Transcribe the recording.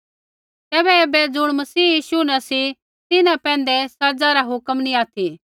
तैबै ऐबै ज़ुण मसीह यीशु न सी तिन्हां पैंधै सज़ा रा हुक्म नैंई ऑथि